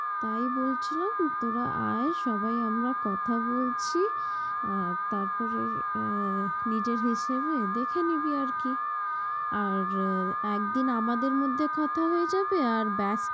তাই বলছিলাম তোরা আয় সবাই আমরা কথা বলছি, অ্যা তারপরে নিজের হিসেবে দেখে নিবি আরকি। আর একদিন আমাদের মধ্যে কথা হয়ে যাবে আর batch